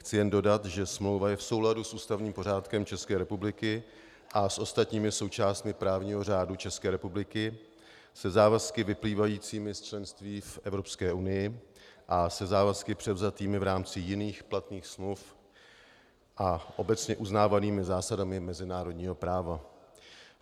Chci jen dodat, že smlouva je v souladu s ústavním pořádkem České republiky a s ostatními součástmi právního řádu České republiky, se závazky vyplývajícími z členství v Evropské unii a se závazky převzatými v rámci jiných platných smluv a obecně uznávanými zásadami mezinárodního práva.